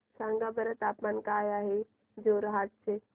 सांगा बरं तापमान काय आहे जोरहाट चे